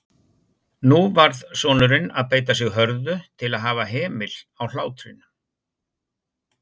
Nú varð sonurinn að beita sig hörðu til að hafa hemil á hlátrinum.